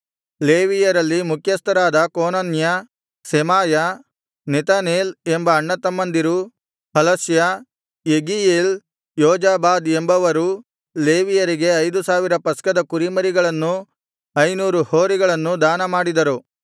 ಲೇವಿಯರಲ್ಲಿ ಮುಖ್ಯಸ್ಥರಾದ ಕೋನನ್ಯ ಸೆಮಾಯ ನೆತನೇಲ್ ಎಂಬ ಅಣ್ಣತಮ್ಮಂದಿರೂ ಹಷಲ್ಯ ಯೆಗೀಯೇಲ್ ಯೋಜಾಬಾದ್ ಎಂಬವರೂ ಲೇವಿಯರಿಗೆ ಐದು ಸಾವಿರ ಪಸ್ಕದ ಕುರಿಮರಿಗಳನ್ನೂ ಐನೂರು ಹೋರಿಗಳನ್ನೂ ದಾನಮಾಡಿದರು